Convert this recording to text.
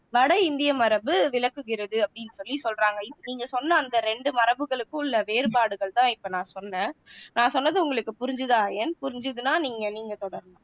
வட இந்திய மரபு விளக்குகிறது அப்படின்னு சொல்லி சொல்றாங்க இப்போ நீங்க சொன்ன அந்த ரெண்டு மரபுகளுக்கும் உள்ள வேறுபாடுகள் தான் இப்போ நான் சொன்னேன் நான் சொன்னது உங்களுக்கு புரிஞ்சுதா ஐயன் புரிஞ்சுதுன்னா நீங்க நீங்க தொடரலாம்